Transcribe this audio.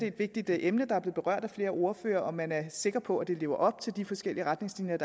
et vigtigt emne der er blevet berørt af flere ordførere nemlig om man er sikker på at de lever op til de forskellige retningslinjer